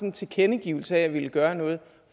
en tilkendegivelse om at ville gøre noget